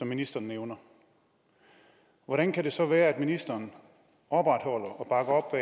ministeren nævner hvordan kan det så være at ministeren opretholder og